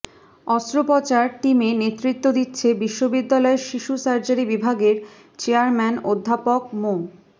অস্ত্রোপচার টিমে নেতৃত্ব দিচ্ছেন বিশ্ববিদ্যালয়ের শিশু সার্জারি বিভাগের চেয়ারম্যান অধ্যাপক মো